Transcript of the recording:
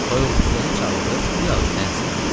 Toyuq cücəni çağırıb, biraz dən səpdi.